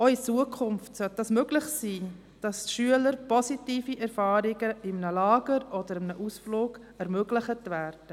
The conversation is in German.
Auch in Zukunft sollte dies möglich sein, dass Schülern positive Erfahrungen in einem Lager oder an einem Ausflug ermöglicht werden.